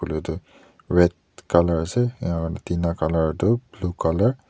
red colour ase aro tina colour tu blue colour .